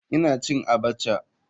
Ina cin abacha.